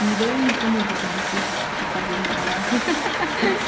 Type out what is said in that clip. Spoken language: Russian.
не даю никому вот и бешусь походу уже пора